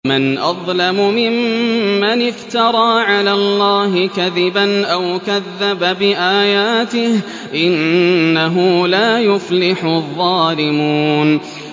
وَمَنْ أَظْلَمُ مِمَّنِ افْتَرَىٰ عَلَى اللَّهِ كَذِبًا أَوْ كَذَّبَ بِآيَاتِهِ ۗ إِنَّهُ لَا يُفْلِحُ الظَّالِمُونَ